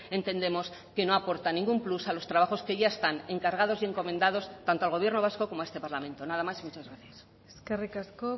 entendemos que no aportan ningún plus a los trabajos que ya están encargados y encomendados tanto al gobierno vasco como a este parlamento nada más y muchas gracias eskerrik asko